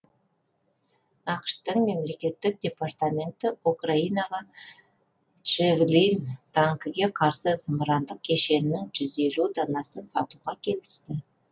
ақш тың мемлекеттік департаменті украинаға джэвлин танкіге қарсы зымырандық кешенінің жүз елу данасын сатуға келісті